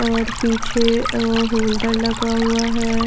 और पीछे अ होल्डर लगा हुआ है।